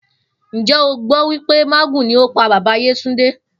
Njé o gbó wípé mágùn ni ó pa bàbá Yétúndé